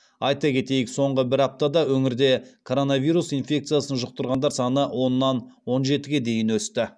айта кетейік соңғы бір аптада өңірде коронавирус инфекциясын жұқтырғандар саны оннан он жетіге дейін өсті